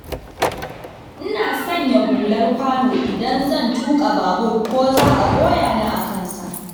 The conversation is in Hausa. Ina sanya hular kwano idan zan tuƙa babur, ko za a goya ni a kansa.